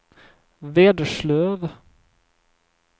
Vederslöv